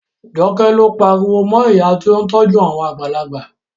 Joke ló pariwo mọ ìyá tí ó ń tọ́jú àwọn àgbàlagbà